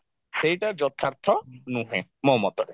ସେଇଟା ଯଥାର୍ଥ ନୁହେଁ ମୋ ମତରେ